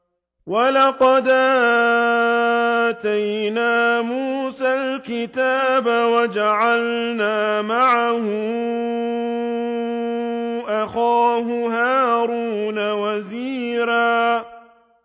وَلَقَدْ آتَيْنَا مُوسَى الْكِتَابَ وَجَعَلْنَا مَعَهُ أَخَاهُ هَارُونَ وَزِيرًا